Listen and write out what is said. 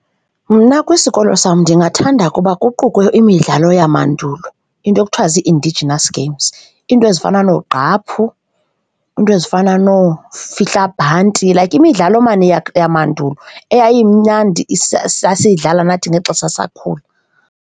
Mna kwisikolo sam ndingathanda ukuba kuqukwe imidlalo yamandulo, iinto ekuthiwa zii-indigenous games. Iinto ezifana noogqaphu, iinto ezifana noofihlabhanti, like imidlalo maan yamandulo eyayimnandi sasiyidlala nathi ngexesha sasisakhula.